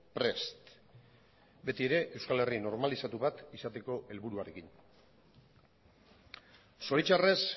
prest betiere euskal herri normalizatu bat izateko helburuarekin zoritxarrez